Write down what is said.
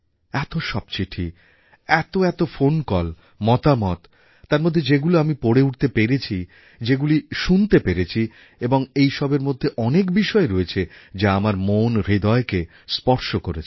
এত সব চিঠি এত এত ফোন কল মতামত তার মধ্যে যেগুলো আমি পড়ে উঠতে পেরেছি যেগুলি শুনতে পেরেছি এবং এই সবের মধ্যে অনেক বিষয়ই রয়েছে যা আমার মনহৃদয়কে স্পর্শ করেছে